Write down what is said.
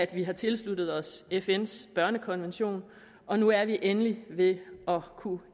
vi har tilsluttet os fns børnekonvention og nu er vi endelig ved at kunne